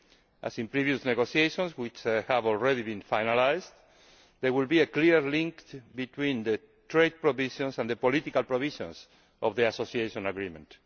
As in previous negotiations, which have already been finalised, there will be a clear link between the trade provisions and the political provisions of the Association Agreement.